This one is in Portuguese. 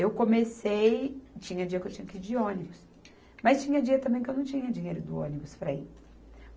Eu comecei... Tinha dia que eu tinha que ir de ônibus, mas tinha dia também que eu não tinha dinheiro do ônibus para ir.